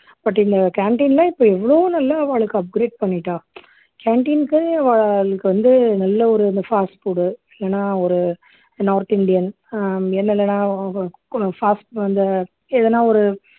இந்த canteen ல இப்போ எவ்ளோ நல்லா அவாளுக்கு upgrade பண்ணிட்டா canteen க்கே அவாளுக்கு வந்து நல்ல ஒரு இந்த fast food ஓ இல்லன்னா north இந்தியன் இல்லன்னா இந்த எதனா ஒரு